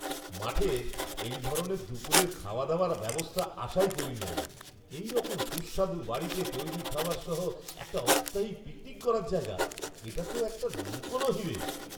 মাঠে এই ধরনের দুপুরের খাওয়াদাওয়ার ব্যবস্থা আশাই করিনি আমি, এইরকম সুস্বাদু বাড়িতে তৈরি খাবার সহ একটা অস্থায়ী পিকনিক করার জায়গা! এটা তো একটা লুকানো হীরে!